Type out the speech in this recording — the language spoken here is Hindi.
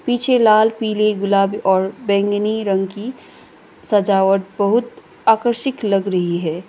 पीछे लाल पीले गुलाबी और बैंगनी रंग की सजाव बहुत आकर्षिक लग रही है।